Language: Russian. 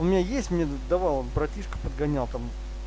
у меня есть мне давал братишка подгонял там